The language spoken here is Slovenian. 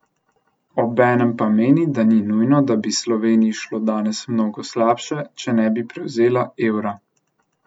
Obenem pa meni, da ni nujno, da bi Sloveniji šlo danes mnogo slabše, če ne bi prevzela evra.